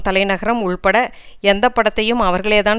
தலை நகரம் உள்பட எந்தப்படத்தையும் அவர்களே தான்